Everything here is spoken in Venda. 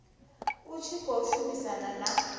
u tshi khou shumisana na